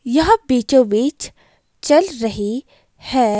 यह बीचो-बीच चल रही है।